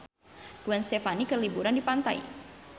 Gwen Stefani keur liburan di pantai